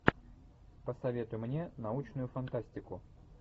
посоветуй мне научную фантастику